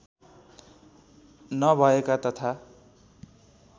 नभएका तथा